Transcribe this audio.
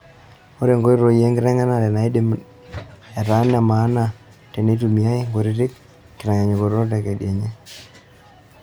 Ore nkoitoi enkiteng'enare neidim ataa nemaana teneitumiai nkutiti kitanyanyukot tekedianye.